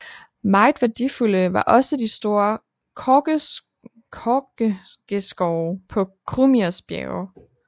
Meget værdifulde var også de store korkegeskove på Krumirs Bjerge